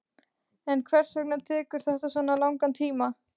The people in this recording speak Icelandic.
En hvers vegna tekur þetta svona langan tíma?